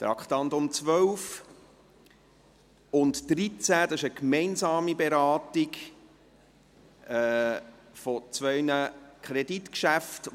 Bei den Traktanden 12 und 13 handelt es sich um eine gemeinsame Beratung von zwei Kreditgeschäften.